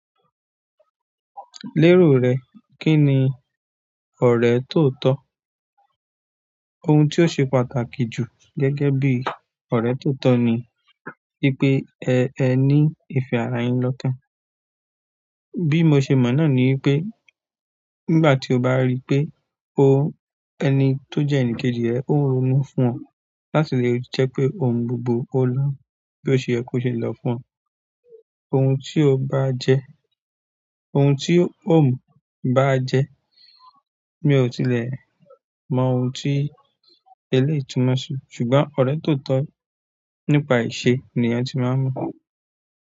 Lérò rẹ, kí ni ọ̀rẹ́ tóo tọ́? Ohun tí ó ṣe pàtàkì jù gẹ́gẹ́ bí ọ̀rẹ́ tóo tọ́ ní wípé ẹ, ẹ ní ìfẹ́ ara yín lọ́kán. Bí mo ṣe mọ̀ náà ní wípé nígbà tí o bá rí pé o-- ẹni tó jẹ́ ẹnìkejì ẹ ó ronú fún ọ, láti lè jẹ́ pé ohun gbogbo ó lọ́, bí ó ṣe yẹ kó ṣe lọ fún ọ. Ohun tí o bá a jẹ, ohun tí ó mú bá a jẹ, mi ò tilẹ̀ mọ ohun tí eléyìí túmọ̀ sí, ṣùgbọ́n ọ̀rẹ́ tóo tọ́ nípa ìṣe ni a ti máa ń mọ̀.